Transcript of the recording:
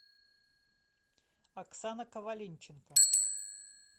оксана коваленченко